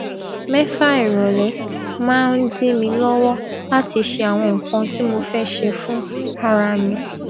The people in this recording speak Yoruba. mẹfà ìrọlẹ máa ń dí mi lówó láti ṣe àwọn nǹkan tí mo fé ṣe fún ara mi